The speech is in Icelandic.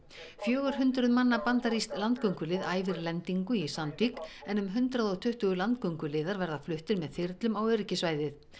fjögur hundruð manna bandarískt landgöngulið æfir lendingu í Sandvík en um hundrað og tuttugu landgönguliðar verða fluttir með þyrlum á öryggissvæðið